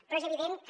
però és evident que